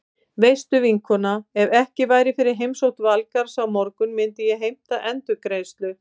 Veistu vinkona, ef ekki væri fyrir heimsókn Valgarðs á morgun myndi ég heimta endurgreiðslu.